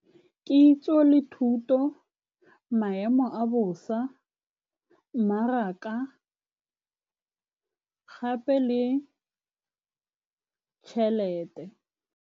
Kitso le thuto, maemo a bosa mmaraka, gape le tšhelete.